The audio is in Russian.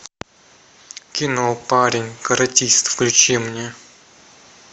кино парень каратист включи мне